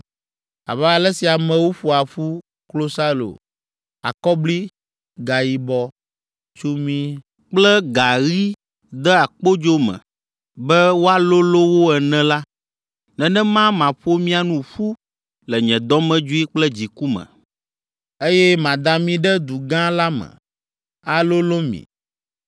Abe ale si amewo ƒoa ƒu klosalo, akɔbli, gayibɔ, tsumi kple gaɣi dea kpodzo me be woalolõ wo ene la, nenema maƒo mia nu ƒu le nye dɔmedzoe kple dziku me, eye mada mi ɖe du gã la me, alolõ mi.